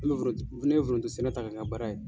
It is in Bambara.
Ne bɛ foronto ne bɛ foronto sɛnɛ ta k'a kɛ n ka baara ye.